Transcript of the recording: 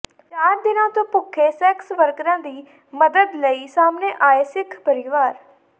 ਚਾਰ ਦਿਨਾਂ ਤੋ ਭੁੱਖੇ ਸੈਕਸ ਵਰਕਰਾਂ ਦੀ ਮਦਦ ਲਈ ਸਾਹਮਣੇ ਆਏ ਸਿੱਖ ਪਰਿਵਾਰ